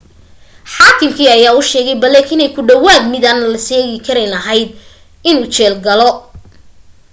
xaakimkii ayaa u sheegay blake inay ku dhawaad midaan la seegin karayn ahayd inuu jeel galo